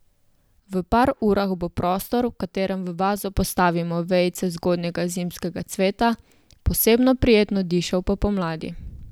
V par urah bo prostor, v katerem v vazo postavimo vejice zgodnjega zimskega cveta, posebno prijetno dišal po pomladi.